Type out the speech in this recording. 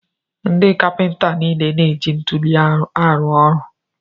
Ndị kapinta niile na-eji ntuli arụ ọrụ.